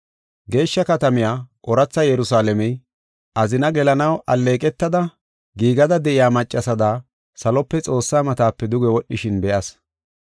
Geeshsha katamiya, ooratha Yerusalaamey, azina gelanaw alleeqetada giigada de7iya maccasada salope Xoossaa matape duge wodhishin be7as.